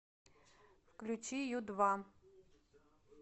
включи ю два